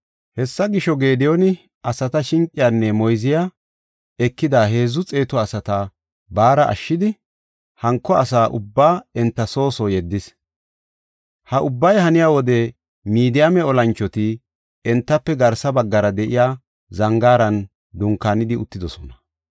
Hessa gisho, Gediyooni asata shinqiyanne enta moyziya ekida heedzu xeetu asata baara ashshidi, hanko asa ubbaa enta soo soo yeddis. Ha ubbay haniya wode Midiyaame olanchoti entafe garsa baggara de7iya zangaaran dunkaanidi uttidosona.